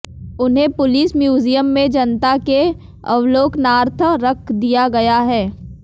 उन्हें police museum में जनता के अवलोकनार्थ रख दिया गया है